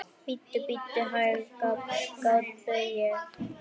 Bíddu, bíddu hæg, grátbið ég.